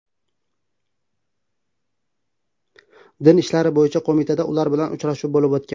Din ishlari bo‘yicha qo‘mitada ular bilan uchrashuv bo‘lib o‘tgan.